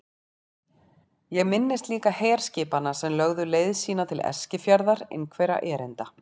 Ég minnist líka herskipanna sem lögðu leið sína til Eskifjarðar einhverra erinda.